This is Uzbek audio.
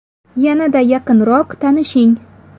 Yanada yaqinroq tanishing!